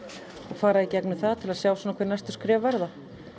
fara í gegnum það til að sjá hver næstu skref verða